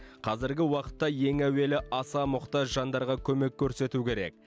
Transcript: қазіргі уақытта ең әуелі аса мұқтаж жандарға көмек көрсету керек